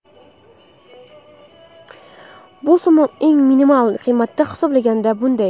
Bu summa eng minimal qiymatda hisoblaganda shunday.